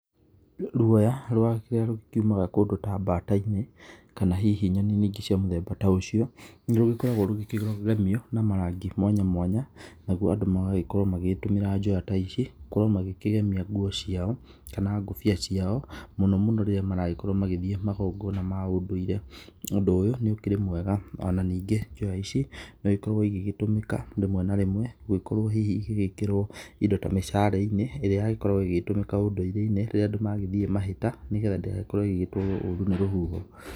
Ruoya rũrĩa rũkiumaga kũndũ ta mbata-inĩ kana hihi nyoni-inĩ ingĩ cia mũthemba ta ũcio nĩ rũgĩkoragwo rũkĩgemio na marangi mwanya mwanya nĩgũo andũ magagĩkorwo magĩgĩtũmĩra njoya ta ici gũkorwo makĩgemia ngũo ciao kana ngobia ciao mũno mũno rĩrĩa maragĩkorwo magĩthiĩ magongona ma ũndũire ,ũndũ ũyũ nĩ ũkĩrĩ mwega ona ningĩ njoya ici no igĩkoragwo igĩgĩtũmĩka gũgĩkorwo hihi igĩgĩkĩrwo indo ta mĩcare-inĩ ĩrĩa yagĩkoragwo ĩgĩtũmĩka ũndũirĩ-inĩ rĩrĩa andũ magĩthiĩ mahĩta nĩgetha ndĩgagĩkorwo ĩgĩtũarwo nĩ rũhuho.